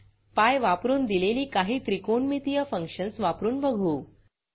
PI वापरून दिलेली काही त्रिकोणमितीय फंक्शन्स वापरून बघू